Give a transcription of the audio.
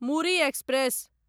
Muri express